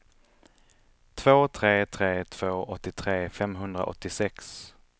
två tre tre två åttiotre femhundraåttiosex